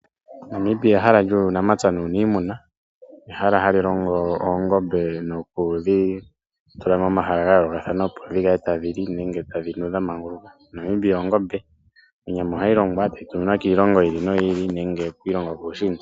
Namibia ehala lyuunamapya nuuniimuna . Ehala hali longo oongombe nokudhi fala pomahala gayoolokathana opo dhikale tadhi li nenge tadhi nu dhamanguluka. Oongombe ohadhi zi onyama ndjoka hayi vulu okutuminwa kiilongo yiili noyili.